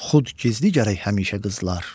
Xud gizli gərək həmişə qızlar.